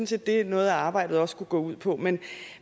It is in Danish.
set det noget arbejde også kunne gå ud på men